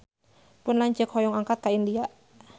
Pun lanceuk hoyong angkat ka India